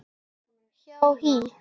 hjá HÍ.